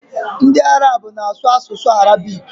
Ndi Arab na asu asusu Arabic